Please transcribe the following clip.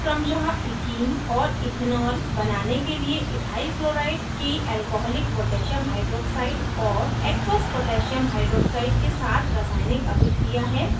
यह क्रमशः ethene और इथेनॉल बनाने के लिए ethyl chloride की alcoholic potassium hydroxide और aqueous potassium hydroxide के साथ रासायनिक अभिक्रिया है